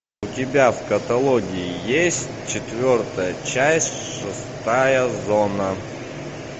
у тебя в каталоге есть четвертая часть шестая зона